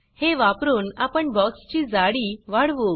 हे वापरून आपण बॉक्स ची जाडी वाढवू